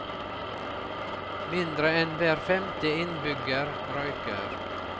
Mindre enn hver femte innbygger røyker.